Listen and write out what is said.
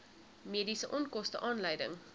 mediese onkoste aanleiding